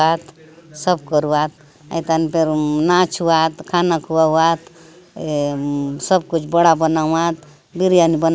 आत सब करुवात अ तन फेर अ नाच अउआत खाना खवात ऐ अम सब कुछ बड़ा बनत बिरयानी बन --